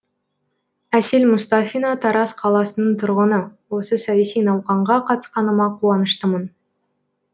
әсел мұстафина тараз қаласының тұрғыны осы саяси науқанға қатысқаныма қуаныштымын